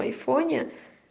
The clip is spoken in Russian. в айфоне